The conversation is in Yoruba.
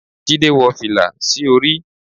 jide wó filá sí orí